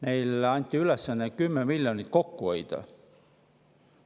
Neile anti ülesanne 10 miljonit kokku hoida.